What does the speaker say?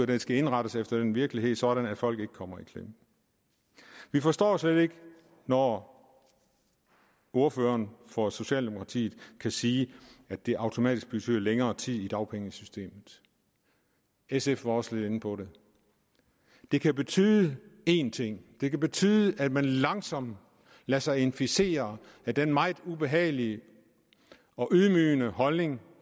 den skal indrettes efter den virkelighed sådan at folk ikke kommer i klemme vi forstår slet ikke når ordføreren for socialdemokratiet kan sige at det automatisk betyder længere tid i dagpengesystemet sf var også lidt inde på det det kan betyde én ting det kan betyde at man langsomt lader sig inficere af den meget ubehagelige og ydmygende holdning